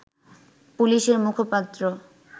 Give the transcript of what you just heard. পুলিশের মুখপাত্র